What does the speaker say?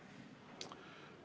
Aitäh!